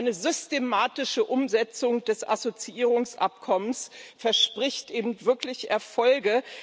Eine systematische Umsetzung des Assoziierungsabkommens verspricht eben wirklich Erfolge.